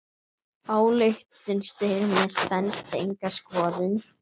Ályktun Styrmis stenst enga skoðun.